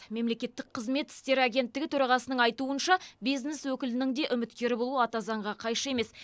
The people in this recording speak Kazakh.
мемлекеттік қызмет істері агенттігі төрағасының айтуынша бизнес өкілінің де үміткер болуы ата заңға қайшы емес